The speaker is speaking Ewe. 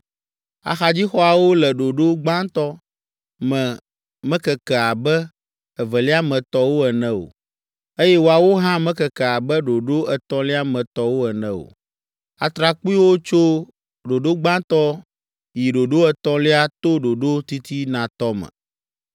Axadzixɔawo le ɖoɖo gbãtɔ me mekeke abe evelia me tɔwo ene o, eye woawo hã mekeke abe ɖoɖo etɔ̃lia me tɔwo ene o. Atrakpuiwo tso ɖoɖo gbãtɔ yi ɖoɖo etɔ̃lia to ɖoɖo titinatɔ me.